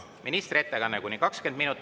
Ministri ettekanne kuni 20 minutit.